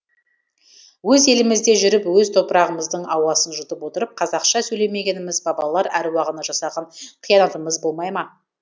өз елімізде жүріп өз топырағымыздың ауасын жұтып отырып қазақша сөйлемегеніміз бабалар әруағына жасаған қиянатымыз болмай ма